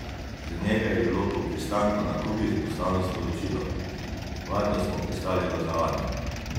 Z njega je bilo po pristanku na Kubi poslano sporočilo: "Varno smo pristali v Havani.